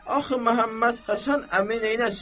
Axı Məhəmməd Həsən əmi neyləsin?